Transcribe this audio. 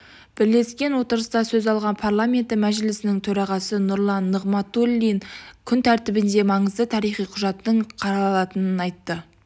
бірлескен отырыста сөз алған парламенті мәжілісінің төрағасы нұрлан нығматуллин күн тәртібінде маңызды тарихи құжаттың қаралатынын айтты